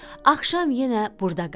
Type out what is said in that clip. Axşam yenə burda qaldı.